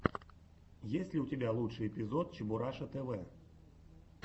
есть ли у тебя лучший эпизод чебураша тв